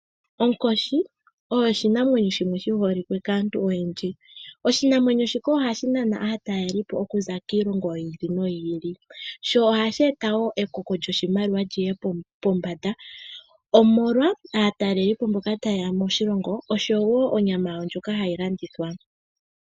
Onkoshi oyo oshinamwenyo shimwe shi holike kaantu oyendji. Oshinamwenyo shika ohashi nana aatalelipo okuza kiilongo yi ili noyi ili, sho ohashi eta wo ekoko lyoshimaliwa liye pombanda omolwa aatalelipo mboka taye ya moshilongo, oshowo onyama yawo ndjoka hayi landithwa.